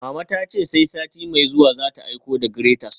Mama ta ce sai sati mai zuwa za ta aiko da graters